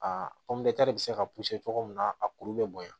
Aa de bɛ se ka cogo min na a kuru bɛ bonya